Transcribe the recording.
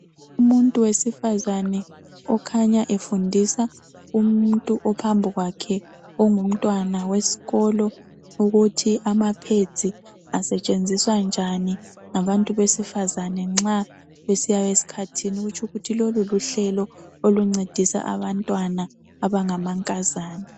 Umuntu wesifazana okhanya efundisa umuntu ophambi kwakhe ongumntwana wesikolo ukuthi ama (pads) asetshenziswa njani ngabantu besifazane nxa besiya esikhathini. Okutsho ukuthi lelo luhlelo oluncedisa abantwana abangamankazana.